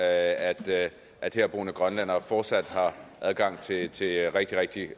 at at herboende grønlændere fortsat har adgang til rigtig rigtig rigtig